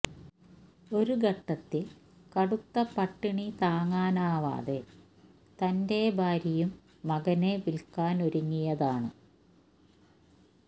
ഒരു ഘട്ടത്തില് കടുത്ത പട്ടിണി താങ്ങാനാവാതെ തന്റെ ഭാര്യയും മകനെ വില്ക്കാനൊരുങ്ങിയതാണ്